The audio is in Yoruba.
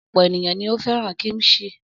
Ọ̀pọ̀ ènìyàn ni ó fẹ́ràn kíḿṣì.